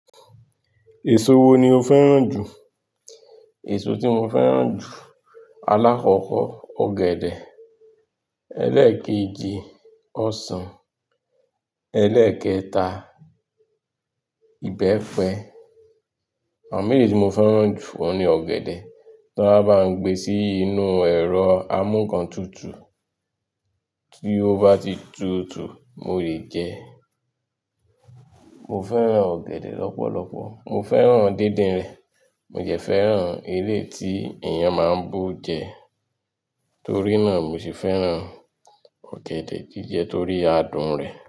Èso wo ni o fẹ́ràn jù? Èso tí mo fẹ́ràn jù alákọ̀kọ̀ ọ̀gẹ̀dẹ̀, ẹlẹ́ẹ̀kejì ọsàn, ẹlẹ́ẹ̀kẹta ìbẹ́pẹ. Àwọn eyi tí mo fẹ́ràn jù oun ni ọ̀gẹ̀dẹ̀, tí wọ́n bá gbe sí inú ẹ̀rọ amúǹkantutù tí ó bá ti tutù mo le jẹ ẹ́. Mo fẹ́ràn ọ̀gẹ̀dẹ̀ lọ́pọ̀lọpọ̀, mo fẹ́ràn díndín rẹ̀, mo jẹ fẹ́ràn eleyi tí èèyàn máa ń bo jẹ, torí náà mo sì fẹ́ràn ọ̀gẹ̀dẹ̀ jíjẹ torí adùn rẹ̀.